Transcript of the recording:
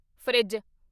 fridge